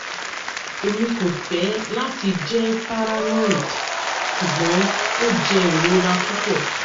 emi ko fẹ lati jẹ paranoid ṣugbọn o jẹ irora pupọ